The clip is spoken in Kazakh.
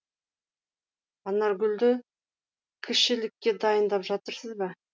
анаргүлді кішілікке дайындап жатырсыз ба